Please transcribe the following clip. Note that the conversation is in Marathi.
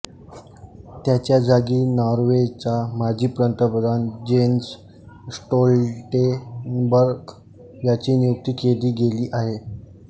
त्याच्या जागी नॉर्वेचा माजी पंतप्रधान जेन्स स्टोल्टेनबर्ग ह्याची नियुक्ती केली गेली आहे